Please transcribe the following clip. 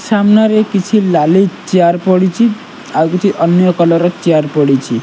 ସାମ୍ନାରେ କିଛି ନାଲି ଚେୟାର ପଡ଼ିଛି ଆଉ ଅନିୟ କଲର ଚେୟାର ପଡ଼ିଛି।